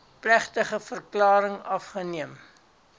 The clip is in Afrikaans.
plegtige verklaring afgeneem